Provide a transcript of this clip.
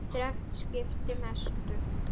Þrennt skipti mestu.